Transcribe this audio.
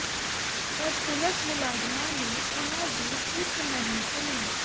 ਪਰ ਪੁਲਸ ਮੁਲਾਜ਼ਮਾਂ ਨੇ ਉਨ੍ਹਾਂ ਦੀ ਇਕ ਨਹੀਂ ਸੁਣੀ